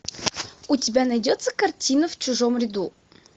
у тебя найдется картина в чужом ряду